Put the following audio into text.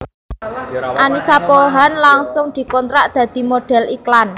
Annisa Pohan langsung dikontrak dadi modhél iklan